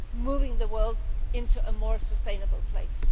moving the world into a more sustainable place.